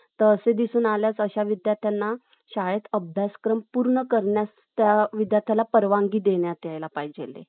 तर असे दिसून आल्यास अशा विदयार्थ्यांना शाळेत अभ्यासक्रम पूर्ण करण्यास त्या विद्यार्थ्याला परवानगी द्यायला पाहिजेले .